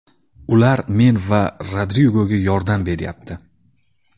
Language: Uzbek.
Ular men va Rodrigoga yordam beryapti.